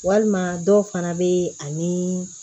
Walima dɔw fana bɛ ani